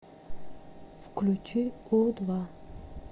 включи у два